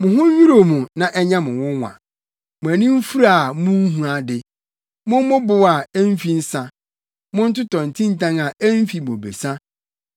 Mo ho nnwiriw mo na ɛnyɛ mo nwonwa, mo ani mfura a munhu ade; mommobow a emfi nsa, montotɔ ntintan a emfi bobesa.